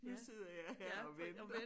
Nu sidder jeg her og venter